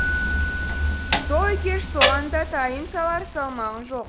сол екеш соған да тайым салар салмағың жоқ